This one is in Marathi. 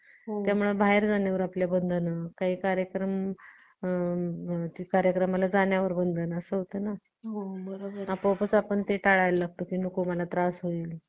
त्यामुळे आपल्या बाहेर जाण्यावर बंधन काही कार्यक्रम त्या कार्यक्रमाला जाण्यावर बंधन असा होतं ना आपोआपच ते आपण टाळायला लागतो की नको मला मला त्रास होईल